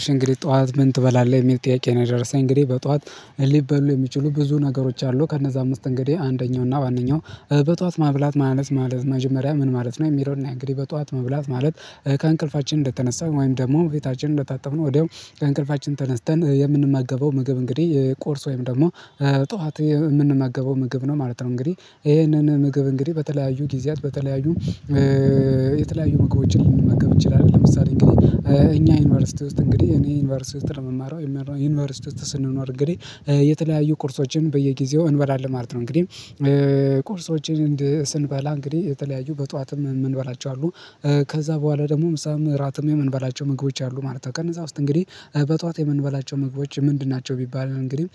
እሺ እንግዲህ ጠዋት ምን ትበላለህ? የሚል ጥያቄ ነው። የደረሰኝ እንግዲህ በጠዋት ሊበሉ የሚችሉ ብዙ ነገሮች አሉ ከእነዛ አምስት እንግዲህ አንደኛው እና ዋነኛው በጠዋት መብላት ማለት ምን ማለት መጀመሪያ ምን ማለት ነው የሚለውን እንግዲህ በጧት ማብላት ማለት ከእንቅልፋችን እንደተነሳን ወይም ደግሞ ፊታችን እንደታጠብን ወዲያው ከእንቅልፋችን ተነስተን የምንማገበው ምግብ እንግዲህ ቆርሶ ወይም ደግሞ ጠዋት የምንመገበው ምግብ ነው ማለት ነው። እንግዲህ ይሄንን ምግብ እንግዲህ በተለያዩ ጊዜያት በተለያዩ የተለያዩ ምግቦችን ልንመገብ እንችላለን። ለምሳሌ እንግዲህ ዩኒቨርሲቲ ውስጥ እንግዲህ እኔ ዩኒቨርሲቲ ውስጥ ነው የምማረው ዩኒቨርሲቲ ውስጥ ስንኖር እንግዲህ የተለያዩ ኮርሶችን በየጊዜው እንበላለን ማለት ነው። እንግዲህ ቁርሶችን ስንበላ እንግዲህ የተለያዩ በጧትም የምንበላቸው አሉ ከዛ በኋላ ደግሞ ምሳም እራትም የምንበላቸው ምግቦች አሉ ማለት ነው። ቀን እዛ ውስጥ እንግዲህ በጧት የምንበላቸው ምግቦች ምንድን ናቸው? ቢባል እንግዲህም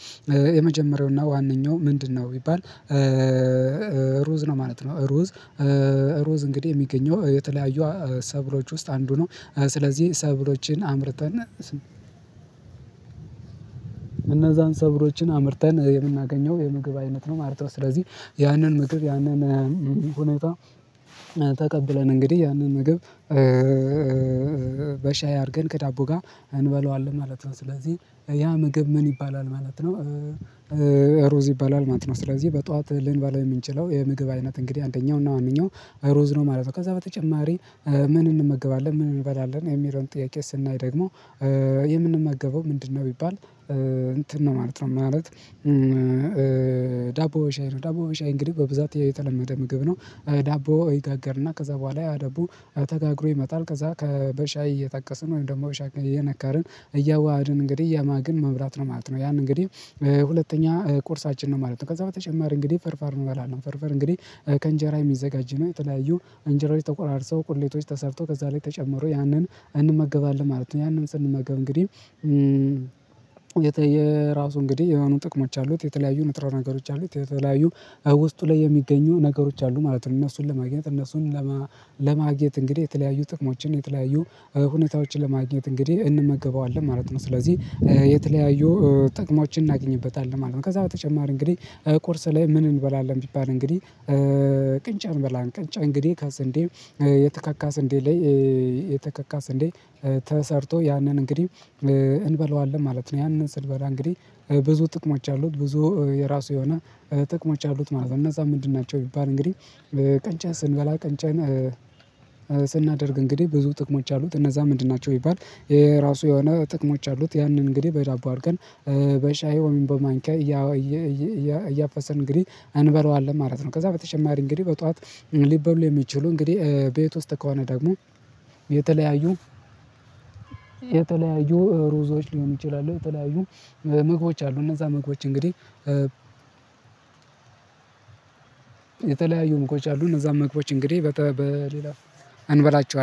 የመጀመሪያውና ዋነኛው ምንድነው ቢባል? ሩዝ ነው ማለት ነው። ሩዝ ሩዝ እንግዲህ የሚገኘው የተለያዩ ሰብሎች ውስጥ አንዱ ነው ስለዚህ ሰብሎችን አምርተናል። እነዛን ሰብሮችን አምርተን የምናገኘው የምግብ አይነት ነው ማለት ነው። ስለዚህ ያንን ምግብ ያንን ሁኔታ ተቀብለን እንግዲህ ያንን ምግብ በሻይ አድርገን ከዳቦ ጋር እንበለዋለን ማለት ነው። ስለዚህ ያ ምግብ ምን ይባላል ማለት ነው? ሩዝ ይባላል ማለት ነው። ስለዚህ በጧት ልንባል የምንችለው የምግብ አይነት እንግዲህ አንደኛውና ዋናው እሩዝ ነው ማለት ነው። ከዛ በተጨማሪ ምን እንመገባለን? ምን እንበላለን? የሚለውን ጥያቄ ስናይ ደግሞ የምንመገበው ምንድነው? ቢባል እንትን ነው ማለት ነው ማለት። ዳቦ በሻይ ነው ዳቦ በሻይ እንግዲህ በብዛት የተለመደ ምግብ ነው። ዳቦ ይጋገርና ከዛ በኋላ ያ ዳቦ ተጋግሮ ይመጣል። ከዛ ከበሻይ እየጠቀስን ወይም ደግሞ ወሻይ እያዋሃድን እንግዲህ ያማግን መብራት ነው ማለት ነው። ያን እንግዲህ ሁለተኛ ቁርሳችን ነው ማለት ነው። ከዛ በተጨማሪ እንግዲህ ፍርፍር እንበላለን ፍርፍር እንግዲህ ከእንጀራ የሚዘጋጅ ነው የጥላያዊው እንጀራዎች ተቆራርሰው ቁሌቶች ተሰርተው ከዛ ላይ ተጨምሮ ያንን እንመገባለን ማለት ነው። ያንን ስንመገብ እንግዲህ የራሱ እንግዲህ የሆኑ ጥቅሞች አሉት የተለያዩ ንጥረ ነገሮች አሉት የተለያዩ ውስጡ ላይ የሚገኙ ነገሮች አሉ ማለት ነው። እነሱን ለማግኘት እነሱን ለማግኘት እንግዲህ የተለያዩ ጥቅሞችን የተለያዩ ሁኔታዎችን ለማግኘት እንግዲህ እንመገበዋለን ማለት ነው። ስለዚህ የተለያዩ ጥቅሞችን እናገኝበታለን ማለት ነው። ከዛ በተጨማሪ እንግዲህ ቁርስ ላይ ምን እንበላለን ቢባል? እንግዲህ ቅንጫ እንበላለን ቅንጫ እንግዲህ ከስንዴ የተካካ ስንዴ ላይ የተካካ ስንዴ ተሰርቶ ያንን እንግዲህ እንበለዋለን ማለት ነው። ያንን ስድበራ እንግዲህ ብዙ ጥቅሞች አሉት ብዙ የራሱ የሆነ ጥቅሞች አሉት ማለት ነው። እነዛ ምንድን ናቸው ቢባል? እንግዲህ ቀንጫ ስንበላ ቀንጫን ስናደርግ እንግዲህ ብዙ ጥቅሞች አሉት እነዛ ምንድን ናቸው ቢባል? የራሱ የሆነ ጥቅሞች አሉት ያንን እንግዲህ በጃቦ አድርገን በሻይ ወይም በማንኪያ እያፈስን እንግዲህ አንበለዋለን ማለት ነው። ከዛ በተጨማሪ እንግዲህ በጧት ሊበሉ የሚችሉ እንግዲህ ቤት ውስጥ ከሆነ ደግሞ የተለያዩ የተለያዩ ሩዞች ሊሆኑ ይችላሉ። የተለያዩ ምግቦች አሉ እነዛ ምግቦች እንግዲህ የተለያዩ ምግቦች አሉ እነዛም ምግቦች እንግዲህ በሌላ እንበላቸዋለን